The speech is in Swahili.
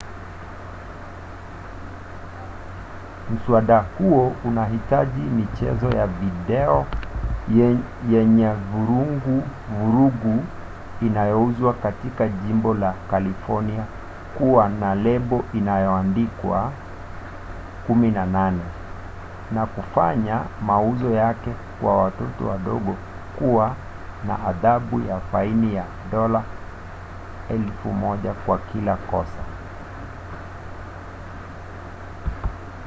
mswada huo unahitaji michezo ya video yenye vurugu inayouzwa katika jimbo la kalifornia kuwa na lebo iliyoandikwa 18 na kufanya mauzo yake kwa watoto wadogo kuwa na adhabu ya faini ya dola 1000 kwa kila kosa